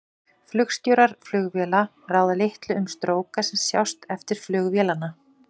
Flugstjórar flugvéla ráða litlu um stróka sem sjást eftir flug vélanna.